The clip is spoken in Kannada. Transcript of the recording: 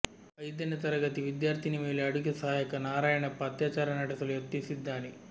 ಐದನೇ ತರಗತಿ ವಿದ್ಯಾರ್ಥಿನಿ ಮೇಲೆ ಅಡುಗೆ ಸಹಾಯಕ ನಾರಾಯಣಪ್ಪ ಅತ್ಯಾಚಾರ ನಡೆಸಲು ಯತ್ನಿಸಿದ್ದಾನೆ